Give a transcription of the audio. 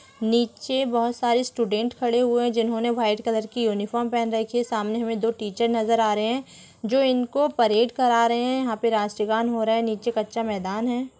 नीचे बहुत सारे स्टूडेंट खड़े हुए हैं जिन्होंने व्हाइट कलर की यूनिफॉर्म पहन रखी है सामने मे दो टीचर नजर आ रहे हैं जो इनको परेड करा रहे हैं यहाँ पर राष्ट्रीय गान हो रहा है नीचे कच्चा मैदान है।